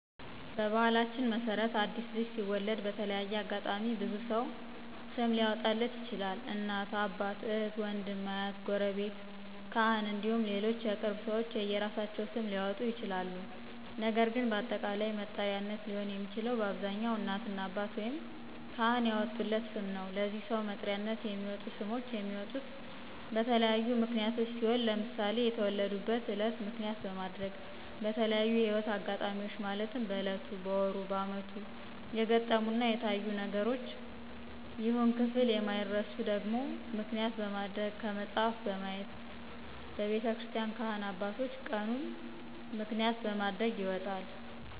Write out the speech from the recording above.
በባህላችን መሰረት አዲስ ልጅ ሲወለድ በተለያየ አጋጣሚ ብዙ ሰው ስም ሊአወጣለት ይችላል እናት፣ አባት፣ እህት፣ ውንድም፣ አሀት፣ ጉረቤት፣ ካህን እንዲሁም ሌሎች የቅርብ ሰዎች የየእራሳቸውን ስም ሊአወጡ ይችላል ነገር ግን ለአጠቃላይ መጠሪያነት ሊሆን የሚችለው በአብዛኛው እናትና አባት ወይም ካህን ያወጡለት ስም ነው። ለዚህ ሰው መጥሪያነት የሚወጡ ስሞች የሚወጡት በተለያዩ ምክንያቶች ሲሆን ለምሳሌ የተወለዱበትን እለት ምክንያት በማድረግ፣ በተለያዪ የህይወት እጋጣሚዎች ማለትም በእለቱ፣ በወሩ፣ በአመቱ የገጠሙና የታዩ ደግም ይሁን ክፍል የማይረሱ ነገሮችን ምክንያት በማድረግ፣ ከመጽሀፍ በማየት፣ በቤተክርስቲን ካህናት አባቶች ቀኑን ምክንያት በማድረግ ይወጣል።